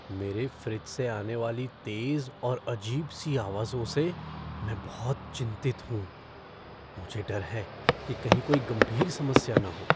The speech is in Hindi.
मेरे फ़्रिज से आने वाली तेज़ और अजीब सी आवाज़ों से मैं बहुत चिंतित हूँ। मुझे डर है कि कहीं कोई गंभीर समस्या न हो।